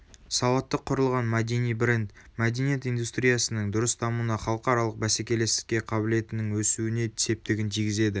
сауатты құрылған мәдени бренд мәдениет индустриясының дұрыс дамуына халықаралық бәсекелестікке қабілетінің өсуіне септігін тигізеді